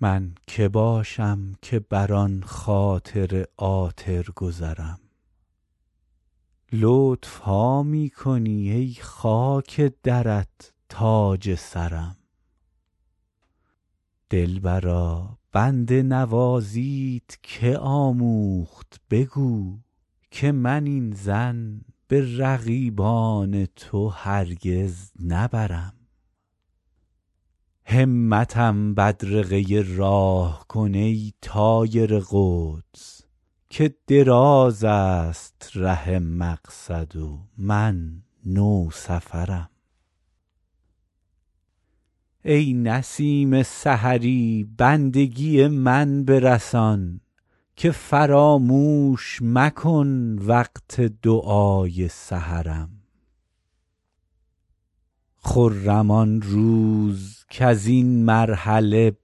من که باشم که بر آن خاطر عاطر گذرم لطف ها می کنی ای خاک درت تاج سرم دلبرا بنده نوازیت که آموخت بگو که من این ظن به رقیبان تو هرگز نبرم همتم بدرقه راه کن ای طایر قدس که دراز است ره مقصد و من نوسفرم ای نسیم سحری بندگی من برسان که فراموش مکن وقت دعای سحرم خرم آن روز کز این مرحله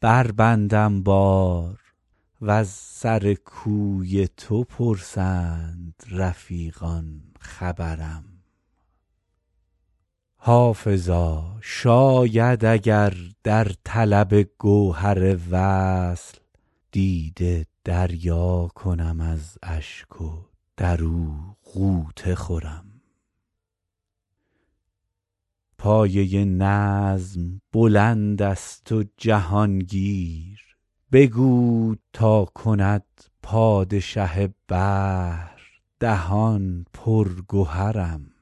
بربندم بار و از سر کوی تو پرسند رفیقان خبرم حافظا شاید اگر در طلب گوهر وصل دیده دریا کنم از اشک و در او غوطه خورم پایه نظم بلند است و جهان گیر بگو تا کند پادشه بحر دهان پر گهرم